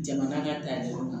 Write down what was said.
Jama ka taa yɔrɔ la